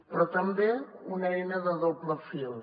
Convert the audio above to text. però també una eina de doble fil